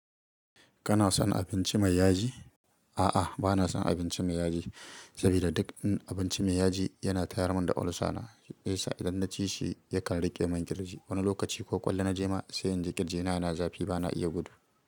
Kana son abinci mai yaji? A'a, bana son abinci mai yaji. Saboda duk abinci mai yaji yana tayar mun da olsa na. Idan naci shi yakan rike min ƙirji wani lokaci ko ƙwallo na je ma. Sai in ji kirji na, na zafi bana iya gudu.